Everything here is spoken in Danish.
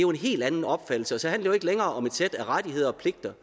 en helt anden opfattelse og så handler ikke længere om et sæt af rettigheder og pligter